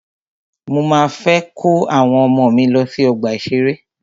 Mọ máa fẹ́ kó àwọn ọmọ mí lọ sí ọgbà ìṣẹ̀rẹ́.